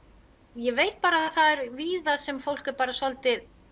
ég veit bara að það víða sem fólk er bara svolítið